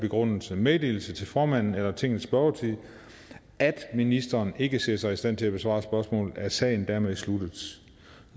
begrundelse meddelelse til formanden eller i tingets spørgetid at ministeren ikke ser sig i stand til at besvare spørgsmålet er sagen dermed sluttet